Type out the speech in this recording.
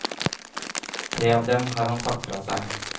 Tre av dem har han sagt fra seg.